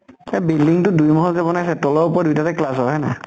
এ building টো দুই মহল কে বনাইছে, তলেৰ ওপৰত দুইটাতে class হয়, হয় নাই?